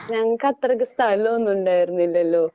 ഞങ്ങക്കത്രയ്ക്ക് സ്ഥലമൊന്നും ഉണ്ടായിരുന്നില്ലല്ലോ?